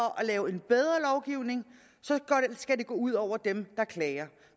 at lave en bedre lovgivning skal det gå ud over dem der klager